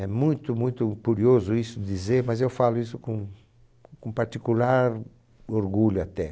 É muito, muito curioso isso dizer, mas eu falo isso com com particular orgulho até.